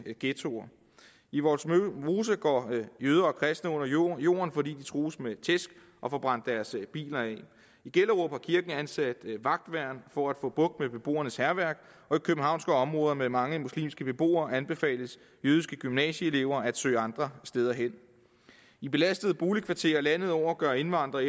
ghettoer i vollsmose går jøder og kristne under jorden jorden fordi de trues med tæsk og får brændt deres biler af i gellerup har kirken ansat vagtværn for at få bugt med beboernes hærværk og i københavnske områder med mange muslimske beboere anbefales jødiske gymnasieelever at søge andre steder hen i belastede boligkvarterer landet over gør indvandrere